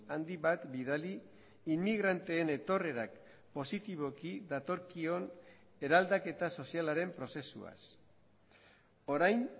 handi bat bidali inmigranteen etorrerak positiboki datorkion eraldaketa sozialaren prozesuaz orain